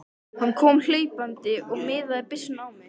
Hann kom hlaupandi og miðaði byssunni á mig.